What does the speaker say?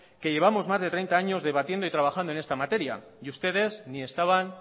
que llevamos más de treinta años debatiendo y trabajando en esta materia y ustedes ni estaban